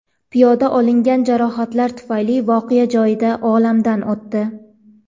Piyoda olingan jarohatlar tufayli voqea joyida olamdan o‘tdi.